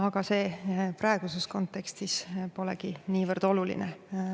Aga see praeguses kontekstis polegi niivõrd oluline.